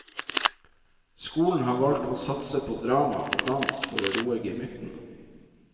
Skolen har valgt å satse på drama og dans for å roe gemyttene.